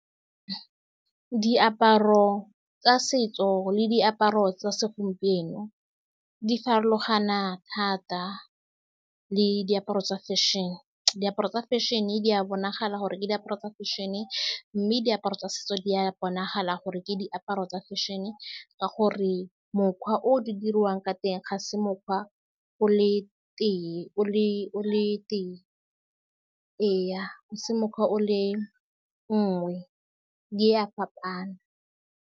Diaparo tsa setso le diaparo tsa segompieno di farologana thata le diaparo tsa fashion-e. Diaparo tsa fashion-e di a bonagala gore ke diaparo tsa fashion-e, mme diaparo tsa setso di a bonagala gore ke diaparo tsa fashion-e, ka gore mokgwa o di diriwang ka teng ga se mokgwa o le tee, o le, o le tee, ee ga se mokgwa o le nngwe, di a fapana.